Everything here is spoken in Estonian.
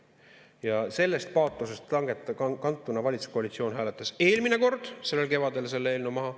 Ja sellest paatosest kantuna valitsuskoalitsioon hääletas eelmine kord sellel kevadel selle eelnõu maha.